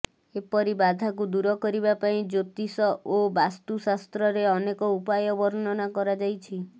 ଏପରି ବାଧାକୁ ଦୂର କରିବା ପାଇଁ ଜ୍ୟୋତିଷ ଓ ବାସ୍ତୁଶାସ୍ତ୍ରରେ ଅନେକ ଉପାୟ ବର୍ଣ୍ଣନା କରାଯାଇଛି